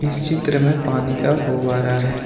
इस चित्र में पानी का फव्वारा है।